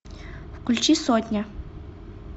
включи сотня